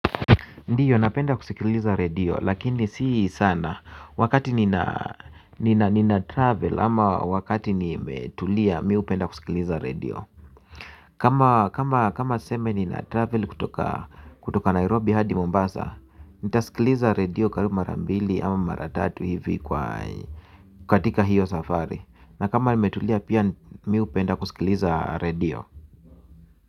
Ndiyo napenda kusikiliza radio lakini si sana wakati nina travel ama wakati nimetulia mimi hupenda kusikiliza radio kama kama tuseme nina travel kutoka Nairobi hadi Mombasa Nitasikiliza radio karibu mara mbili ama mara tatu hivi kwa, katika hiyo safari. Na kama nimetulia pia mimi hupenda kusikiliza radio.